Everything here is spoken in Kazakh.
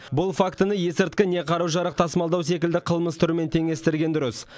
бұл фактіні есірткі не қару жарақ тасымалдау секілді қылмыс түрімен теңестерген дұрыс